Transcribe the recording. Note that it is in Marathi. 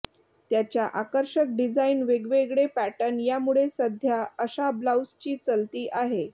त्याच्या आकर्षक डिझाईन वेगवेगळे पॅटर्न यामुळे सध्या अशा ब्लाऊजची चलती आहे